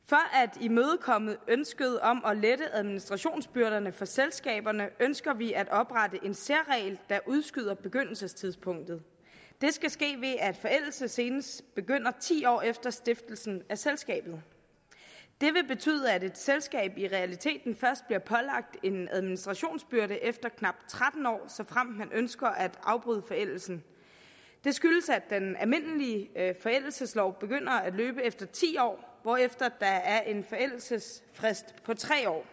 at imødekomme ønsket om at lette administrationsbyrderne for selskaberne ønsker vi at oprette en særregel der udskyder begyndelsestidspunktet det skal ske ved at forældelse senest begynder ti år efter stiftelsen af selskabet det vil betyde at et selskab i realiteten først bliver pålagt en administrationsbyrde efter knap tretten år såfremt man ønsker at afbryde forældelsen det skyldes at den almindelige forældelseslov begynder at løbe efter ti år hvorefter der er en forældelsesfrist på tre år